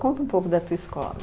Conta um pouco da tua escola.